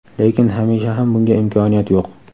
lekin hamisha ham bunga imkoniyat yo‘q.